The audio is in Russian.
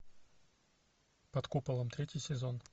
под куполом третий сезон